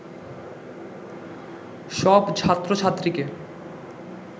সব ছাত্রছাত্রীকে